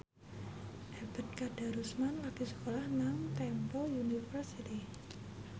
Ebet Kadarusman lagi sekolah nang Temple University